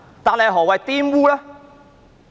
但是，何謂"玷污"呢？